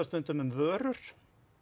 stundum um vörur